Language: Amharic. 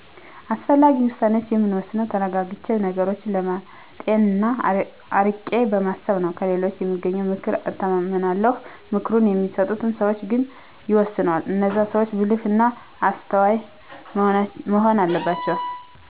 አስፈላጊ ውሳኔዋችን የምወስነው ተረጋግቸ ነገሮችን በማጤን ና አርቄ በማሰብ ነው። ከሌሎች በማገኚው ምክር እተማመናለሁ ምክሩን በሚሰጡን ሰዋች ግን ይወሰናል። እነዛ ሰዋች ብልህ እና አስተዋይ መሆን አለባቸው።